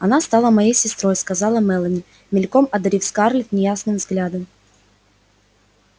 она стала моей сестрой сказала мелани мельком одарив скарлетт неясным взглядом